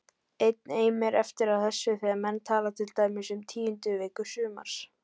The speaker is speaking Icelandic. Enn eimir eftir af þessu þegar menn tala til dæmis um tíundu viku sumars